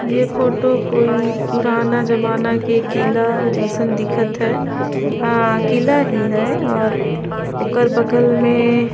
ये फोटो कोई पुराना जमाना के किला जइसन दिखत है ह किला ही है और ओकर बगल में --